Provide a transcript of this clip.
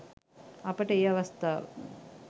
අපට ඒ අවස්ථාව